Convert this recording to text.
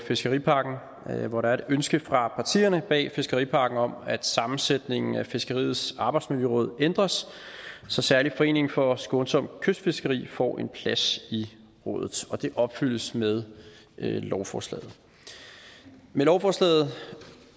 fiskeripakken hvor der er et ønske fra partierne bag fiskeripakken om at sammensætningen af fiskeriets arbejdsmiljøråd ændres så særlig foreningen for skånsomt kystfiskeri får en plads i rådet og det opfyldes med lovforslaget med lovforslaget